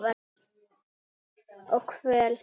Og kvöl.